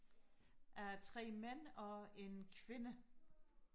af tre mænd og en kvinde